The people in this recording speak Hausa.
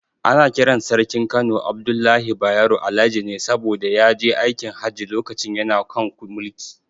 Ana kiran Sarkin Kano Abdullahi Bayero, Alhaji ne saboda ya je aikin Hajji lokacin yana kan mulki.